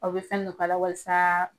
Aw bi fɛn dɔ k'a la walasa